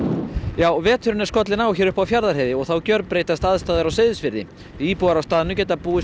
já veturinn er skollinn á hér uppi á Fjarðarheiði og þá gjörbreytast aðstæður á Seyðisfirði íbúar að staðnum geta búist